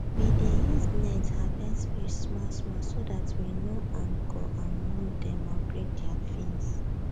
we dey use net harvest fish small small so that we no um go um wound dem or break their fins